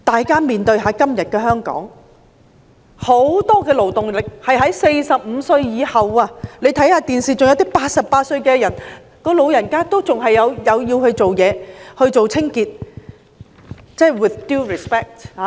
今天的香港，很多勞動力都是45歲以上的人士，看電視可以見到88歲的老人家還有繼續做清潔工作。